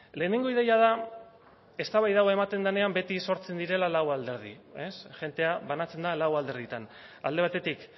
lehenengo ideia da eztabaida hau ematen denean beti sortzen direla lau alderdi jendea banatzen da lau alderdietan alde batetik